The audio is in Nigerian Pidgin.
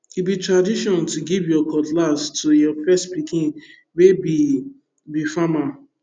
e be tradition to give your cutlass to your first pikin wey be be farmer